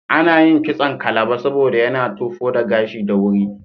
Ana yin kitson Kalba saboda yana tofo da gashi da wuri.